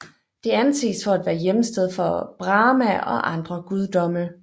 Det anses for at være hjemsted for Brahma og andre guddomme